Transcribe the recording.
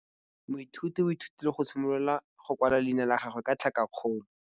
Moithuti o ithutile go simolola go kwala leina la gagwe ka tlhakakgolo.